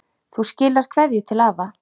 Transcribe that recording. Þú skilar kveðju til afa.